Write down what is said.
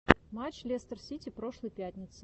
матч лестер сити прошлой пятницы